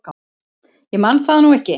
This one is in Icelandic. Ég man það nú ekki.